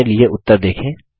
अपने लिए उत्तर देखें